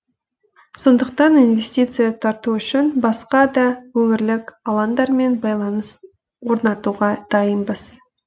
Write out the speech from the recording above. сондықтан инвестиция тарту үшін басқа да өңірлік алаңдармен байланыс орнатуға дайынбыз